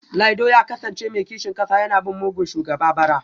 Laido ya kasance mai kishin kasa yana bin mugun shugaba bara